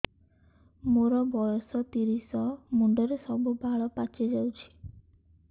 ମୋର ବୟସ ତିରିଶ ମୁଣ୍ଡରେ ସବୁ ବାଳ ପାଚିଯାଇଛି